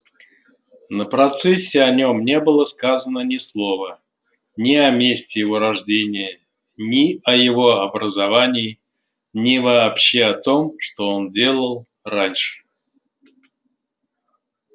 на процессе о нем не было сказано ни слова ни о месте его рождения ни о его образовании ни вообще о том что он делал раньше